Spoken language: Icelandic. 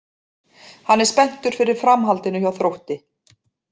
Hann er spenntur fyrir framhaldinu hjá Þrótti.